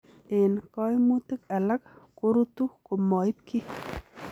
En koimutik alak korutu komoib kiy.